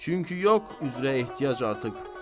Çünki yox üzrə ehtiyac artıq.